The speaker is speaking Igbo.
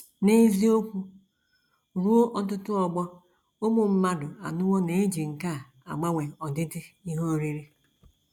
N’eziokwu, ruo ọtụtụ ọgbọ ụmụ mmadụ anọwo na - eji nkà agbanwe ọdịdị ihe oriri.